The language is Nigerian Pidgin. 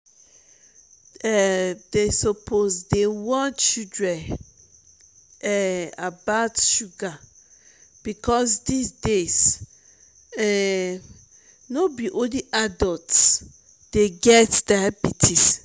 um dem suppose dey warn children um about sugar because dis days um no be only adult dey get diabetes